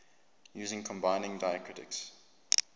using combining diacritics